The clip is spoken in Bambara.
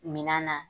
Minan na